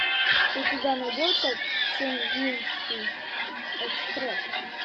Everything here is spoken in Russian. у тебя найдется чунгкингский экспресс